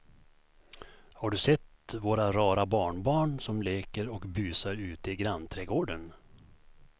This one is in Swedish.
Har du sett våra rara barnbarn som leker och busar ute i grannträdgården!